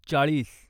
चाळीस